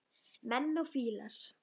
Menn og fílar